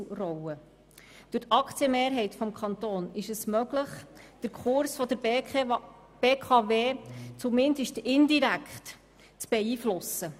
Durch die Aktienmehrheit des Kantons ist es möglich, den Kurs der BKW zumindest indirekt zu beeinflussen.